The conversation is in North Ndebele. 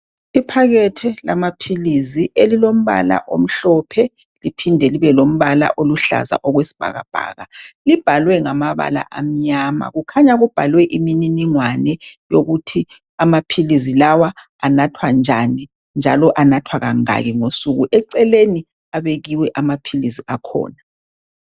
Iphakethe lamaphilisi elilombala omhlophe, liphinde libe lombala oluhlaza okwesibhakabhaka. Libhaliwe ngamabala amnyama. Kukhanya kubhalwe imininingwane yokuthi amaphilisi lawa anathwa njani njalo anathwa kangaki ngosuku. Eceleni abekiwe amaphilisi akhona.